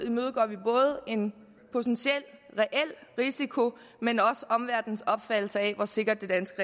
imødegår vi både en potentiel reel risiko men også omverdenens opfattelse af hvor sikkert det danske